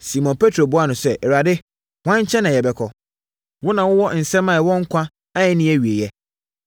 Simon Petro buaa no sɛ, “Awurade, hwan nkyɛn na yɛbɛkɔ? Wo na wowɔ nsɛm a ɛwɔ nkwa a ɛnni awieeɛ.